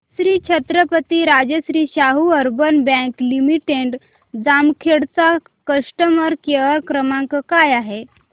Shri Chhatrapati Rajashri Shahu urban bank limited Jamkhed चा customer care क्रमांक काय आहे